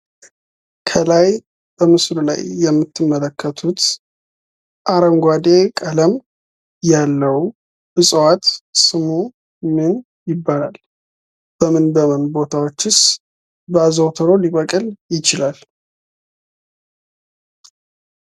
ከላይ በምስሉ ላይ የምትመለከቱት አረንጓዴ ቀለም ያለው ዕፅዋት ስሙ ምን ይባላል? በምን በምን ቦታቸውስ አዘውትሮ ሊበቅል ይችላል?